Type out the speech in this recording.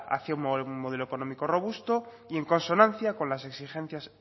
hacia un modelo económico robusto y en consonancia con las exigencias